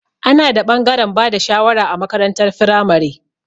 Ana da ɓangaren bada shawara a makarantar firamare.